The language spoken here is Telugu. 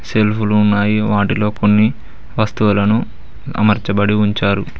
సెల్ఫులు ఉన్నాయి వాటిలో కొన్ని వస్తువులను అమర్చబడి ఉంచారు.